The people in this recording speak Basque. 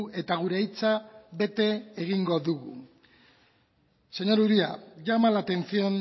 eta gure hitza bete egingo dugu señor uria llama la atención